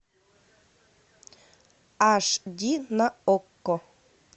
аш ди на окко